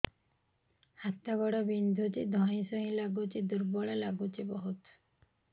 ହାତ ଗୋଡ ବିନ୍ଧୁଛି ଧଇଁସଇଁ ଲାଗୁଚି ଦୁର୍ବଳ ଲାଗୁଚି ବହୁତ